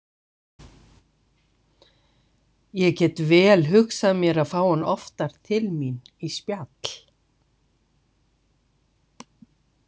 Ég get vel hugsað mér að fá hann oftar til mín í spjall.